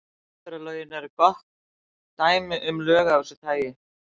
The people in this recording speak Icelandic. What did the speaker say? Umferðarlögin eru gott dæmi um lög af þessu tagi.